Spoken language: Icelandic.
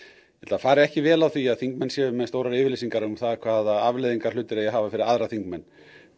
fari ekki vel á því að þingmenn séu með stórar yfirlýsingar um það hvaða afleiðingar hlutir eigi að hafa fyrir aðra þingmenn